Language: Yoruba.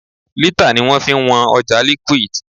Lítà ni wọ́n fi ń wọn ọjà liquid.